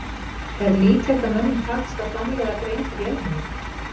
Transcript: Er líklegt að mönnum takist að framleiða greind vélmenni?